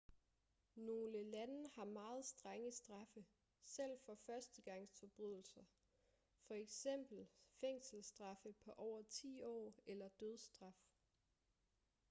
nogle lande har meget strenge straffe selv for førstegangsforbrydelser f.eks fængselsstraffe på over 10 år eller dødsstraf